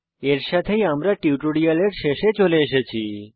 এর সাথেই আমরা টিউটোরিয়ালের শেষে চলে এসেছি